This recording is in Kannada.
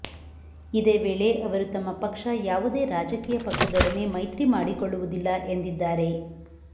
ಇದೇ ವೇಳೆ ಅವರು ತಮ್ಮ ಪಕ್ಷ ಯಾವುದೇ ರಾಜಕೀಯ ಪಕ್ಷದೊಡನೆ ಮೈತ್ರಿ ಮಾಡಿಕೊಳ್ಳುವುದಿಲ್ಲ ಎಂದಿದ್ದಾರೆ